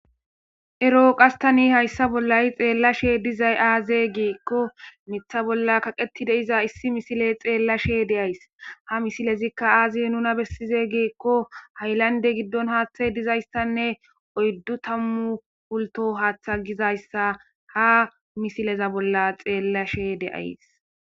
ero qastani hayssa bollay xeellashe dizay aaze giikko mitha bolla kaqeti de iza issi misile xeellashe de7ays ha misilezikka aazi nuna bessize giikko haylande giddon haaththa dizayssanne oyddu tammu pulto haaththa gizayssa ha misileza bolla xeellashe de7ays